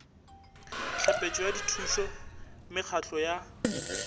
tlhapetšo ya dithušo mekgatlo ya